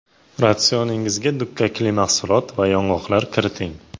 Ratsioningizga dukkakli mahsulot va yong‘oqlar kiriting.